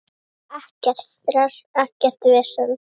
Ekkert stress, ekkert vesen.